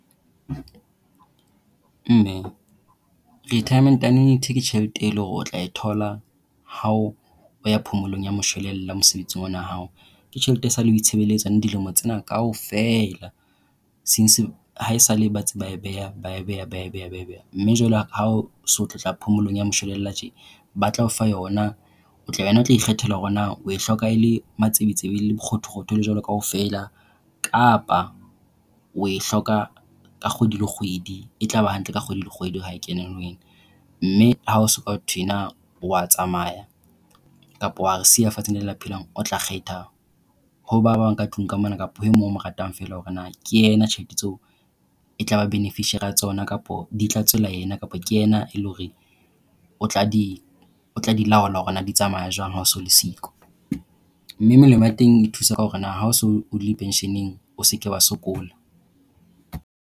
Mme, retirement annuity ke tjhelete e leng hore o tla e thola ha o ha o ya phomolong ya moshwelella mosebetsing ona wa hao. Ke tjhelete esaleng o itshebeletsa dilemo tsena kaofela. Since, haesale ba ntse ba beha ba e beha, ba e beha. Mme jwale ha o so tlotla phomolong ya moshwelella tje ba tla o fa yona. O tla wena o tla ikgethela hore na o hloka e le matsebetsebe e le bokgothokgotho e le jwalo kaofela. Kapa o e hloka ka kgwedi le kgwedi, e tlaba hantle ka kgwedi le kgwedi ha e kena ho wena. Mme ha ho so ho thwe na o a tsamaya, kapa o a re siya fatshe le ba phelang, o tla kgetha ho ba bang ka tlung ka mona kapa ho e mong o mo ratang fela hore na ke yena tjhelete tseo e tlaba beneficiary ya tsona, kapa di tla tswela yena kapa ke yena e le hore o tla di laola hore na di tsamaya jwang ha o so le siyo. Mme melemo e teng e thusa ka hore na ha o. se o ile pension-ng o se ke wa sokola.